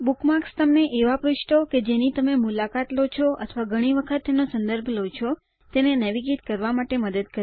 bookmarks તમને એવા પૃષ્ઠો કે જેની તમે મુલાકાત લો છો અથવા ઘણી વખત તેનો સંદર્ભ લો છો તેને નેવિગેટ કરવા માટે મદદ કરે છે